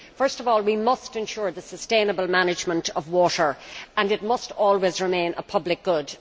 First of all, we must ensure the sustainable management of water and it must always remain a public good.